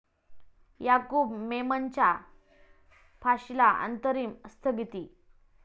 याकूब मेमनच्या फाशीला अंतरिम स्थगिती